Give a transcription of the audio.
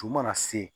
Ju mana se